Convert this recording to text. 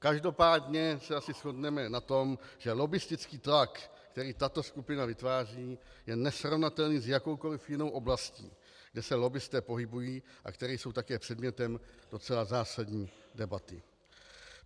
Každopádně se asi shodneme na tom, že lobbistický tlak, který tato skupina vytváří, je nesrovnatelný s jakoukoli jinou oblastí, kde se lobbisté pohybují a které jsou také předmětem docela zásadní debaty.